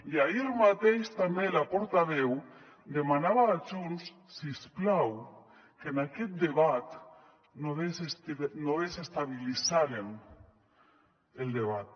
i ahir mateix també la portaveu demanava a junts si us plau que en aquest debat no desestabilitzaren el debat